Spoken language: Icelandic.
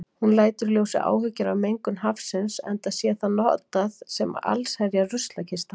Hún lætur í ljósi áhyggjur af mengun hafsins, enda sé það notað sem allsherjar ruslakista.